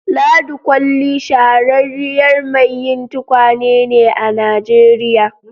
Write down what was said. Ladi kolli shahararriyar mai yi tukwane ne a Nijeriya